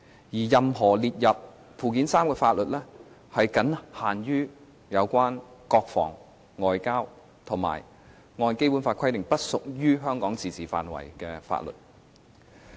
而且，任何列入附件三的法律，僅限於有關國防和外交，以及按《基本法》規定，不屬於香港自治範圍的法律。